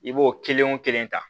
I b'o kelen o kelen ta